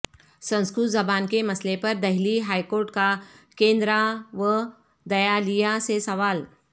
سنسکرت زبان کے مسئلہ پر دہلی ہائیکورٹ کا کیندرا ودیالیہ سے سوال